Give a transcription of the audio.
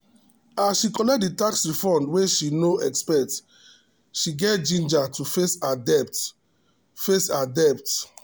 as she collect the tax refund wey she no expect she get ginger to face her debt. face her debt.